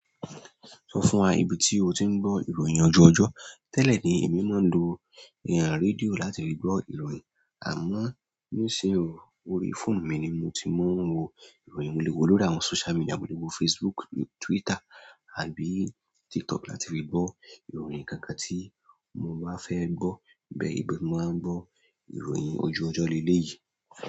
Sọ fún wa ibi tí o ti ń gbọ́ ìróyin ojú ojọ́. Tẹ́lẹ̀ ni èmi máa ń lo rédíò láti fí gbọ́ ìròyìn. Àmọ́, nísin o orí fóònù mi ni mo ti máa ń wo ìròyìn. Mo lè wó lórí àwọn social media, mo lè wó Facebook, Twitter àbí TikTok láti fí gbọ́ ìròyìn kankan tí mo bá fẹ́ gbọ́. Bẹ́ẹ̀ ibi ti mo ti máa ń gbọ́ ìròyìn ojú ojọ́ leléyìí.